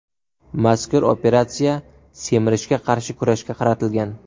Mazkur operatsiya semirishga qarshi kurashga qaratilgan.